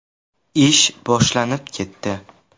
Ish boshlanib ketdi.